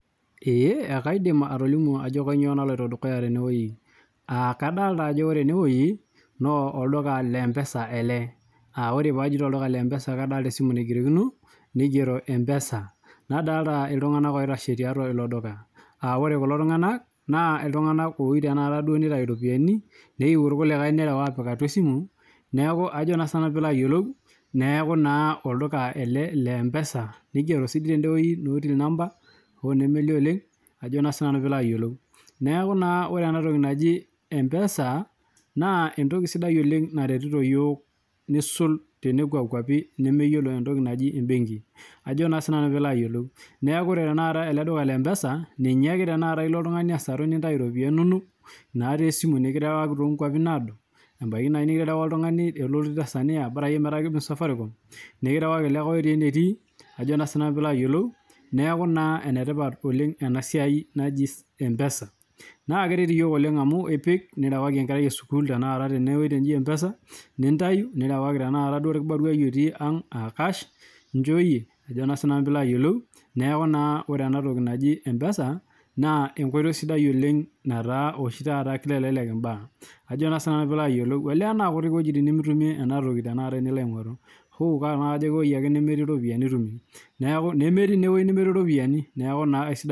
Ekaidim atolimu Ajo kainyio naloito dukuya tenewueji naa kadolita Ajo olduka lee mpesa ele oree pee ajoito olduka lee mpesa ele naa kadolita esimu naigerokino nigero mpesa nadolita iltung'ana oitashe tiatua elo duka aa ore kulo tung'ana naa iltung'ana oyieu nitau eropiani neyieu irkulikae nerew apik atua esimu neeku olduka ele lee mpesa nigero noo till number hoo nemelio oleng neeku ore ena toki naa mpesa naa entoki sidai oleng naretito iyiok nisul tenekwa kwapii nemeyiolo entoki najii ebenki neeku ore tanakata ele duka lee mpesa ninye ake elo oltung'ani asaru nitau eropiani enono natii esimu niketerewakaki too nkwapii nadoo ebaiki nikiterewaka oltung'ani otii tanzania bora ake metaa kibung safaricom nikirewaki likae otii enetii neeku enetipat oleng enasiai naaji mpesa naa keret iyiok amu epik nirewaki enkerai esukuul tenewueji naji mpesa nintayu nirewaki orkibaruai otii ang aa cash enjooyie neeku ore ena toki najii mpesa naa enkoitoi sidai oleng nataa oshi taata kitelelek mbaa Ajo sinanu naa kutik ewuejitin nimitumie ena toki tenilo aing'oru amu ewueji eke nemetii eropiani mitumie nemetii naa ewueji nemetii eropiani neeku naa esidai